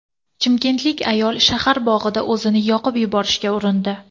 Chimkentlik ayol shahar bog‘ida o‘zini yoqib yuborishga urindi.